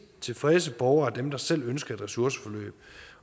tilfredse borgere er dem der selv ønsker et ressourceforløb